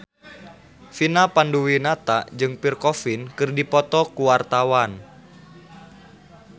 Vina Panduwinata jeung Pierre Coffin keur dipoto ku wartawan